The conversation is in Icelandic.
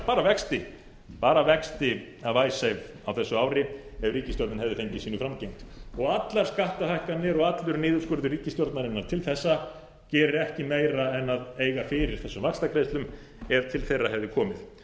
að borga bara vexti af icesave á þessu ári ef ríkisstjórnin hefði fengið sínu framgengt og allar skattahækkanir og allur niðurskurður ríkisstjórnarinnar til þessa gerir ekki meira en eiga fyrir þessum vaxtagreiðslum ef til þeirra hefði komið